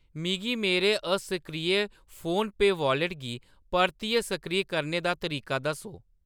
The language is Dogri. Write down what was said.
मिगी मेरे असक्रिय फोनपेऽ वालेट गी परतियै सक्रिय करने दा तरीका दस्सो।